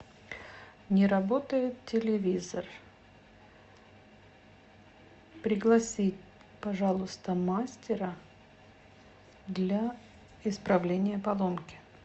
не работает телевизор пригласи пожалуйста мастера для исправления поломки